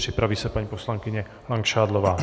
Připraví se paní poslankyně Langšádlová.